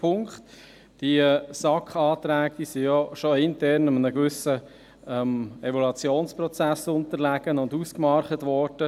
Die SAK-Anträge unterlagen ja bereits einem internen Evaluationsprozess und wurden ausdiskutiert.